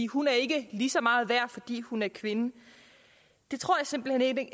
hun er ikke lige så meget værd fordi hun er kvinde det tror jeg simpelt hen ikke